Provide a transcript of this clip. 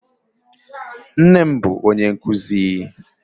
Nne m bụ ónyé nkuzi